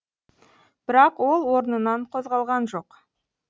бірақ ол орнынан қозғалған жоқ